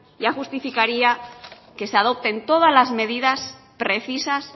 ya justificaría que se adopten todas las medidas precisas